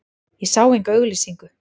Ég sá enga auglýsingu.